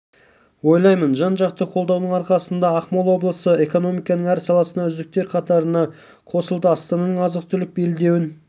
ойлаймын жан-жақты қолдаудың арқасында ақмола облысы экономиканың әр саласында үздіктер қатарына қосылды астананың азық-түлік белдеуін